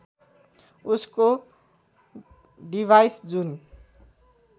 उसको डिभाइस जुन